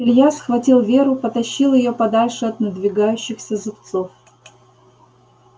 илья схватил веру потащил её подальше от надвигающихся зубцов